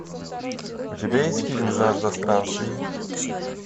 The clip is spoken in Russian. у тебя есть фильм жажда странствий